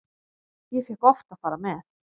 Ég fékk oft að fara með.